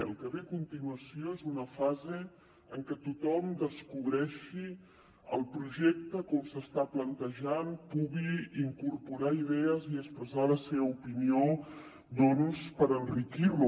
el que ve a continuació és una fase en què tothom descobreixi el projecte com s’està plantejant pugui incorporar idees i expressar la seva opinió per enriquir lo